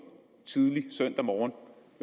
tidligt søndag morgen